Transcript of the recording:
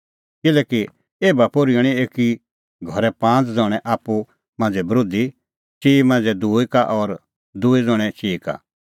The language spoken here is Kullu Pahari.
किल्हैकि एभा पोर्ही हणैं एकी घरे पांज़ ज़ण्हैं आप्पू मांझ़ै बरोधी चिई ज़ण्हैं दूई का और दूई ज़ण्हैं चिई का